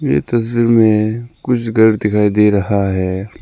ये तस्वीर में कुछ घर दिखाई दे रहा है।